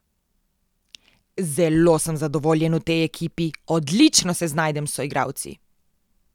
Zelo sem zadovoljen v tej ekipi, odlično se znajdem s soigralci.